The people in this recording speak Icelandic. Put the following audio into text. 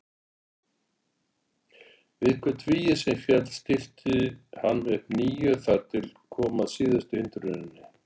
Við hvert vígi sem féll stillti hann upp nýju þar til kom að síðustu hindruninni.